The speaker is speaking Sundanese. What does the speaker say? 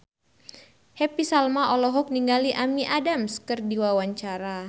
Happy Salma olohok ningali Amy Adams keur diwawancara